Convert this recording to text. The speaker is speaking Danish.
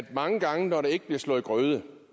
mange gange hvor der ikke bliver slået grøde og